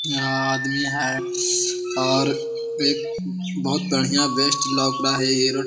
यहाँ आदमी है और एक बहुत बढ़िया बेस्ट लौक रहा है ये रो --